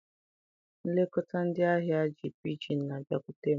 Nlekọta ndị ahịa ji pidgin na-abịakwute m.